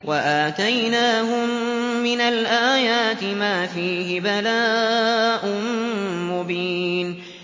وَآتَيْنَاهُم مِّنَ الْآيَاتِ مَا فِيهِ بَلَاءٌ مُّبِينٌ